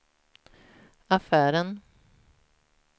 affären